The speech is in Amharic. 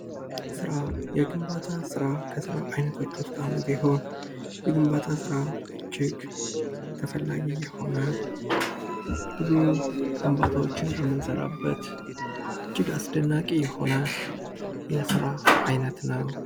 ስራ የግንባታ ስራ ከስራ አይነቶች ውስጥ አንዱ ሲሆን የግንባታ ስራ እጅግ ተፈላጊ የሆነ ብዙ ግንባታዎችን የምንሰራበት እጅግ አስደናቂ የሆነ የስራ አይነት ነው ::